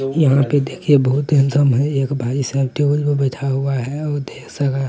यहाँ पे देखिए बहुत ही इंसान है। एक भाई साहब टेबुल पर बैठा हुआ है और ढेर सारा।